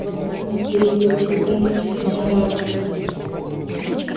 в особенности если это тебя ни к чему не обязывает